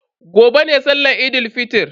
Gobe ne sallan Eid fitr.